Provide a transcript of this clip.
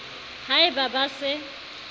ha e ba ba se